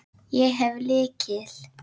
Ég hef lykil.